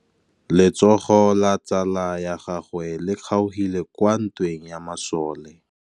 Letsôgô la tsala ya gagwe le kgaogile kwa ntweng ya masole.